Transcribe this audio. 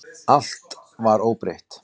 Allt var óbreytt.